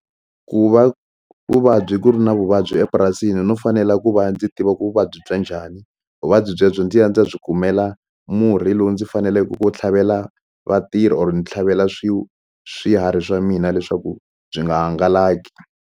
Ku va vuvabyi ku ri na vuvabyi epurasini no fanela ku va ndzi tiva ku vuvabyi bya njhani vuvabyi byebyo ndzi ya ndzi ya byi kumela murhi lowu ndzi faneleke ku tlhavela vatirhi or ni tlhavela swiharhi swa mina leswaku byi nga hangalaki.